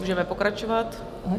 Můžeme pokračovat.